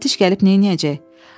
Müfəttiş gəlib neyləyəcək?